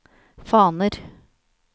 faner